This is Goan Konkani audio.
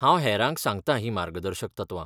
हांव हेरांक सांगतां ही मार्गदर्शक तत्वां.